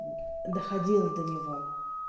доходило до него